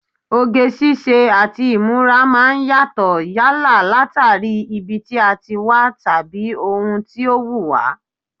Oge ṣíṣe àti ìmúra máa ń yàtọ̀ yálà látàrí ibi tí a ti wá tàbí ohun tó wùn wá